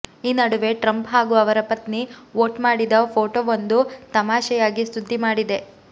ಈ ನಡುವೆ ಟ್ರಂಪ್ ಹಾಗೂ ಅವರ ಪತ್ನಿ ವೋಟ್ ಮಾಡಿದ ಫೋಟೋವೊಂದು ತಮಾಷೆಯಾಗಿ ಸುದ್ದಿ ಮಾಡಿದೆ